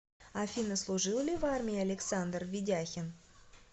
афина служил ли в армии александр ведяхин